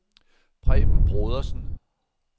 Preben Brodersen